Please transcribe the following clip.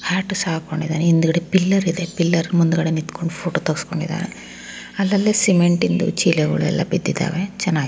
Hat ಸಹ ಹಾಕೊಂಡಿದಾನೆ ಹಿಂದೆ ಪಿಲ್ಲರ್ ಇದೆ ಪಿಲ್ಲರ್ ಮುಂದೆ ನಿಂತ್ಕೊಂಡುಫೋಟೋ ತೆಗಿಸ್ಕೊಂಡಿದಾನೆ ಅಲ ಅಲಿ ಸಿಮೆಂಟೀನ್ ಚೀಲಗಳು ಬಿದ್ದಿದಾವೆ .